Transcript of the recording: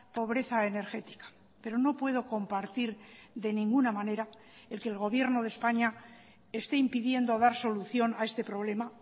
pobreza energética pero no puedo compartir de ninguna manera el que el gobierno de españa esté impidiendo dar solución a este problema